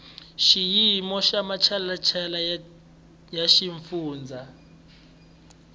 xiyimo xa matshalatshala ya xifundza